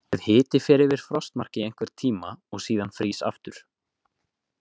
Ef hiti fer yfir frostmark í einhvern tíma og síðan frýs aftur.